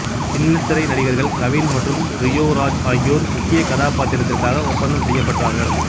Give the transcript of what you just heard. சின்னத்திரை நடிகர்கள் கவின் மற்றும் ரியோ ராஜ் ஆகியோர் முக்கிய கதாபாத்திரத்திற்காக ஒப்பந்தம் செய்யப்பட்டார்கள்